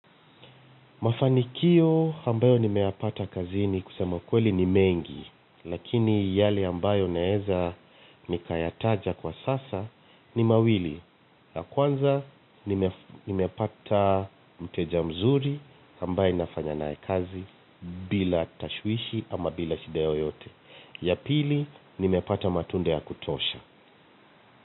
Mafanikio ambayo nimeyapata kazini kusema ukweli ni mengi lakini yale ambayo naweza nikayataja kwa sasa ni mawili. La kwanza nimepata mteja mzuri ambaye nafanya nae kazi bila tashwishi ama bila shida yoteyote. Ya pili nimepata matunda ya kutosha.